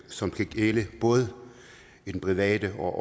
som skal gælde både i den private og